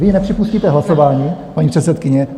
Vy nepřipustíte hlasování, paní předsedkyně.